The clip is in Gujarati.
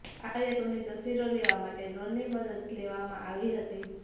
આ કાર્યક્રમની તસવીરો લેવા માટે ડ્રોનની મદદ લેવામાં આવી હતી